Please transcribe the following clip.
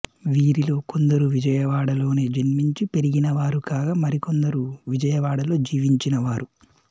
వీరిలో కొందరు విజయవాడలోనే జన్మించి పెరిగినవారు కాగా మరికొందరు విజయవాడలో జీవించినవారు